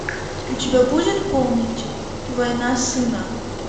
у тебя будет помнить война сына